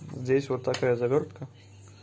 здесь вот такая завёртка